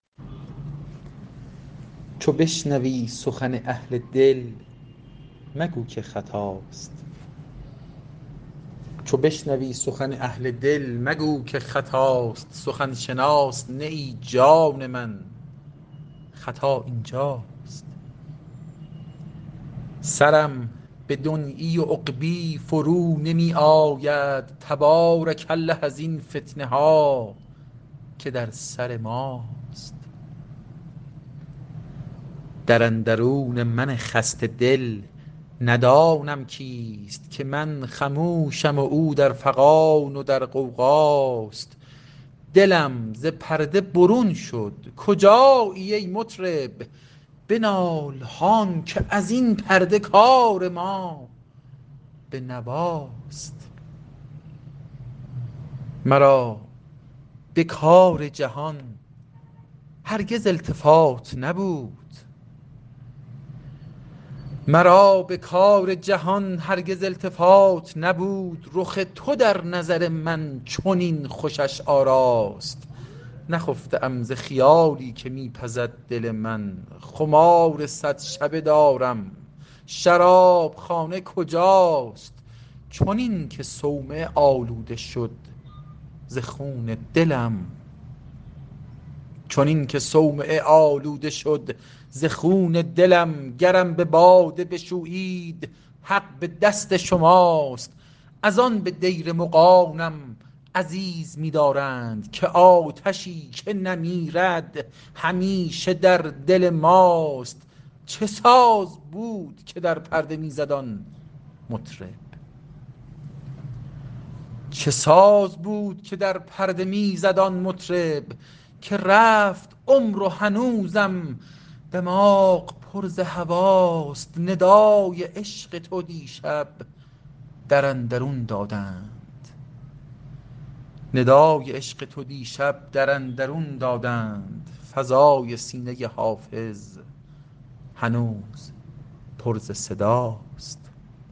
چو بشنوی سخن اهل دل مگو که خطاست سخن شناس نه ای جان من خطا این جاست سرم به دنیی و عقبی فرو نمی آید تبارک الله ازین فتنه ها که در سر ماست در اندرون من خسته دل ندانم کیست که من خموشم و او در فغان و در غوغاست دلم ز پرده برون شد کجایی ای مطرب بنال هان که از این پرده کار ما به نواست مرا به کار جهان هرگز التفات نبود رخ تو در نظر من چنین خوشش آراست نخفته ام ز خیالی که می پزد دل من خمار صد شبه دارم شراب خانه کجاست چنین که صومعه آلوده شد ز خون دلم گرم به باده بشویید حق به دست شماست از آن به دیر مغانم عزیز می دارند که آتشی که نمیرد همیشه در دل ماست چه ساز بود که در پرده می زد آن مطرب که رفت عمر و هنوزم دماغ پر ز هواست ندای عشق تو دیشب در اندرون دادند فضای سینه حافظ هنوز پر ز صداست